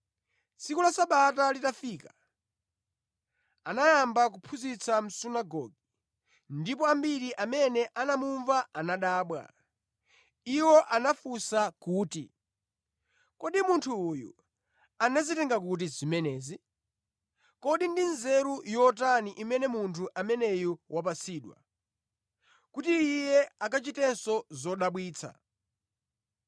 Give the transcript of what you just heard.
Tsiku la Sabata litafika, anayamba kuphunzitsa mʼsunagoge, ndipo ambiri amene anamumva anadabwa. Iwo anafunsa kuti, “Kodi munthu uyu anazitenga kuti zimenezi? Kodi ndi nzeru yotani imene munthu ameneyu wapatsidwa, kuti Iye akuchitanso zodabwitsa!